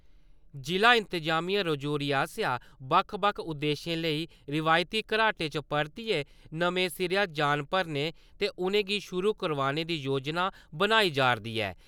जि'ला इंतजामिया रजौरी आसेआ बक्ख-बक्ख उद्देश्यें लेई रिवायती घराटें च परतियै नमें सिरेयां जान भरने ते उ'नेंगी शुरु करोआने दी योजना बनाई जा'रदी ऐ ।